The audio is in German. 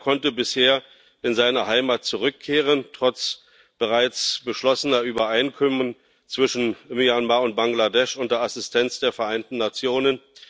Keiner konnte bisher in seine Heimat zurückkehren, trotz bereits beschlossener Übereinkommen zwischen Myanmar und Bangladesch unter Assistenz der Vereinten Nationen.